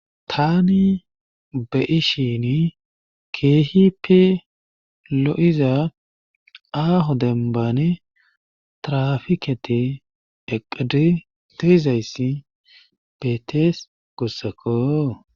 Taani be'ishiini keehippe loiza aaho dembbani tirafikketi eqqizi de'izayti beetees guusakko.